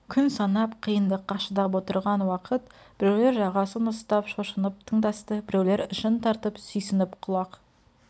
күн санап қиыңдыққа шыдап отырған уақыт біреулер жағасын ұстап шошынып тыңдасты біреулер ішін тартып сүйсініп құлақ